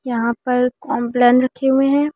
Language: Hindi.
यहां पर कॉमप्लन रखे हुए हैं।